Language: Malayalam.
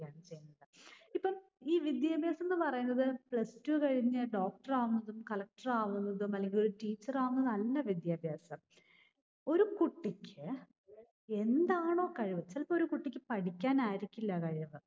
ഇപ്പം ഈ വിദ്യാഭ്യാസംന്ന് പറയുന്നത് Plus Two കഴിഞ്ഞു doctor ആവുന്നതും collector ആവുന്നതും അല്ലെങ്കിലൊരു teacher ആവുന്നതും അല്ല വിദ്യാഭ്യാസം. ഒരു കുട്ടിക്ക് എന്താണോ കഴിവ്, ചിലപ്പോ ഒരു കുട്ടിക്ക് പഠിക്കാനായിരിക്കില്ല കഴിവ്